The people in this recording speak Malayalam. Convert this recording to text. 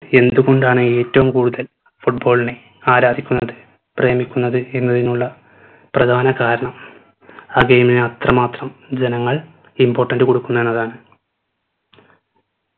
എന്തുകൊണ്ടാണ് ഏറ്റവും കൂടുതൽ football നെ ആരാധിക്കുന്നത് പ്രേമിക്കുന്നത് എന്നതിനുള്ള പ്രധാന കാരണം ആ game നെ അത്രമാത്രം ജനങ്ങൾ important കൊടുക്കുന്നു എന്നതാണ്